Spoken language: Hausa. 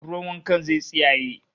Ruwan wankan zai tsiyaye